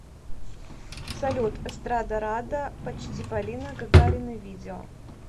салют эстрадарада почти полина гагарина видео